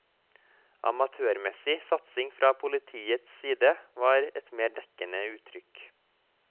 Amatørmessig satsing fra politiets side var et mer dekkende uttrykk.